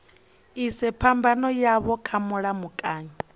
ise phambano yavho kha mulamukanyi